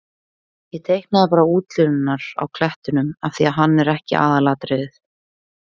Ég teiknaði bara útlínurnar á klettinum af því að hann er ekki aðalatriðið.